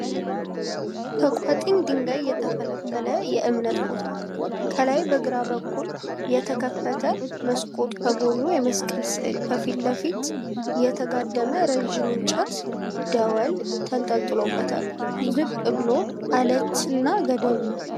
ከቋጥኝ ድንጋይ የተፈለፈለ የእምነት ቦታ ነዉ። ከላይ በግራ በኩል የተከፈተ መስኮት ከጎኑ የመስቀል ስዕል ከፊት ለፊት የተጋደመ ረዥም እንጨት ደወል ተንጠልጥሎበታል። ዝቅ ብሎ አለት እና ገደል ነዉ።